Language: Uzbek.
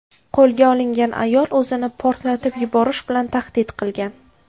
Qo‘lga olingan ayol o‘zini portlatib yuborish bilan tahdid qilgan.